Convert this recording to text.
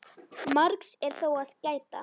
Margs er þó að gæta.